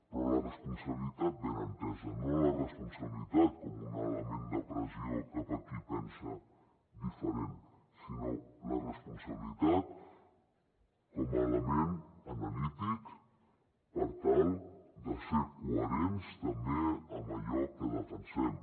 però la responsabilitat ben entesa no la responsabilitat com un element de pressió cap a qui pensa diferent sinó la responsabilitat com a element analític per tal de ser coherents també amb allò que defensem